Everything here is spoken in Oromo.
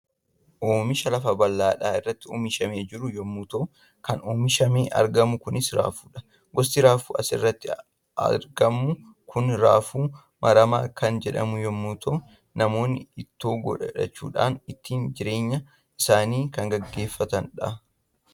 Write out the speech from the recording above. Oomisha lafa baldhaa irratti oomishamee jiru yommuu ta'u kan oomishamee argamu kunis raafuudha. Gosti raafuu asirratti atgamu kun raafuu maramaa kan jedhamu yommuu ta'u namoonni ittoo godhachuudhaan ittiin jireemya isaanii kan gaggeeffatanidha.